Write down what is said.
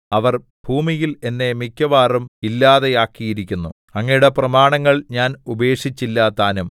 അവർ ഭൂമിയിൽ എന്നെ മിക്കവാറും ഇല്ലാതെയാക്കിയിരിക്കുന്നു അങ്ങയുടെ പ്രമാണങ്ങൾ ഞാൻ ഉപേക്ഷിച്ചില്ലതാനും